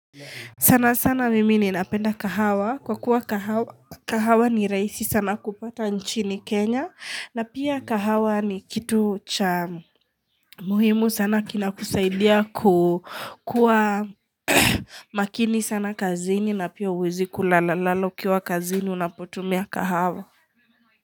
Sana sana mimi ni napenda kahawa kwa kuwa kahawa ni rahisi sana kupata nchini kenya na pia kahawa ni kitu cha muhimu sana kina kusaidia kukua makini sana kazini na pia uwezi kulala lala ukiwa kazini unapotumia kahawa.